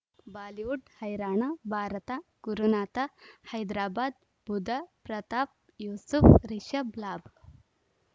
Bollywood ಹೈರಾಣ ಭಾರತ ಗುರುನಾಥ ಹೈದರಾಬಾದ್ ಬುಧ ಪ್ರತಾಪ್ ಯೂಸುಫ್ ರಿಷಬ್ ಲಾಭ